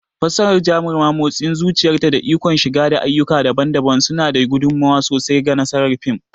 Fassarar Jaruma, motsin zuciyarta, da ikon shigar da ayyuka daban-daban suna ba da gudummawa sosai ga nasarar fim.